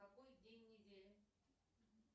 какой день недели